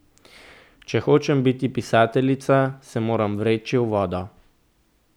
Če hočem biti pisateljica, se moram vreči v vodo.